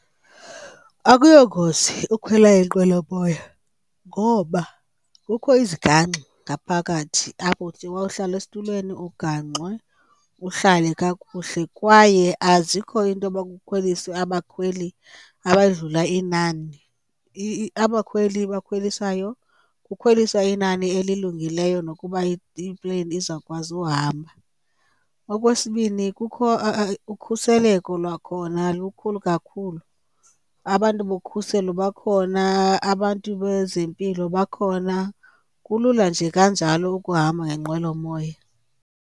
Akuyo ngozi ukhwela inqwelomoya ngoba kukho izigangxa ngaphakathi apho uthi wawuhlala esitulweni ugangxwe uhlale kakuhle. Kwaye azikho iinto yoba kukhweliswe abakhweli abadlula inani, abakhweli abakhwelisayo kukhwelisa inani elilungileyo nokuba ipleyini izawukwazi uhamba. Okwesibini, kukho ukhuseleko lwakhona lukhulu kakhulu, abantu bokhuseleko bakhona, abantu bezempilo bakhona. Kulula nje kanjalo ukuhamba ngenqwelomoya.